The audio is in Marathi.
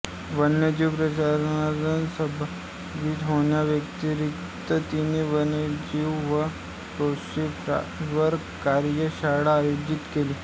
वन्यजीव प्रदर्शनात सहभागी होण्याव्यतिरिक्त तिने वन्यजीवन फोटोग्राफीवर कार्यशाळा आयोजित केली